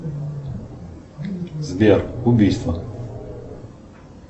сбер убийство